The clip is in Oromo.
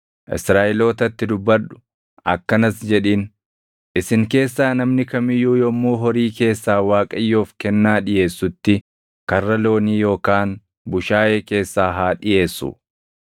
“Israaʼelootatti dubbadhu; akkanas jedhiin: ‘Isin keessaa namni kam iyyuu yommuu horii keessaa Waaqayyoof kennaa dhiʼeessutti karra loonii yookaan bushaayee keessaa haa dhiʼeessu.